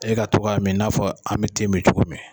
E ka tɔgɔ min i n'a fɔ an bi min cogo min